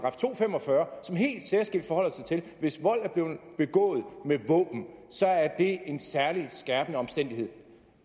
fem og fyrre som helt særskilt forholder sig til at hvis vold er blevet begået med våben så er det en særlig skærpende omstændighed